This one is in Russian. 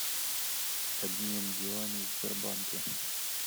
обмен юаней в сбербанке